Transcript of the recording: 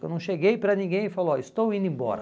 Eu não cheguei para ninguém e falei, olha, estou indo embora.